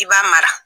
I b'a mara